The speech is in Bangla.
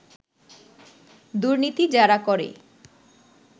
দুর্নীতি যারা করে